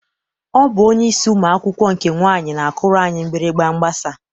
Ọ bụ onyeisi ụmụ akwụkwọ nke nwaanyị na-akụrụ anyị mgbịrịgba mgbasa.